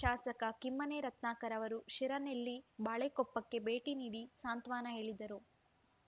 ಶಾಸಕ ಕಿಮ್ಮನೆ ರತ್ನಾಕರ್‌ ಅವರು ಶಿರನೆಲ್ಲಿ ಬಾಳೆಕೊಪ್ಪಕ್ಕೆ ಭೇಟಿ ನೀಡಿ ಸಾಂತ್ವನ ಹೇಳಿದರು